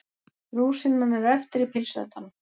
Rúsínan er eftir í pylsuendanum.